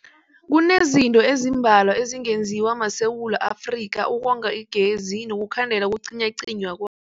Kunezinto ezimbalwa ezingenziwa maSewula Afrika ukonga igezi nokukhandela ukucinywacinywa kw